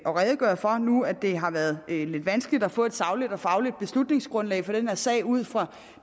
redegøre for nu hvor det har været lidt vanskeligt at få et sagligt og fagligt beslutningsgrundlag for den her sag ud fra